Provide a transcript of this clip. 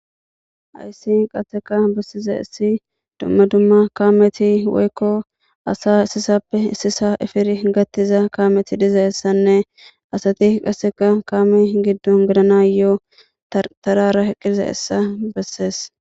Hayssi qasseka bessizayssi dumma dumma kaameti asa issisappe issisa efidi gaththiza kaameti dizayssanne asat kaame giddo gelanass gigetees.